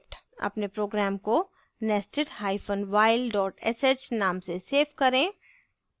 अपने program को nestedhyphen while dot sh name से सेव करें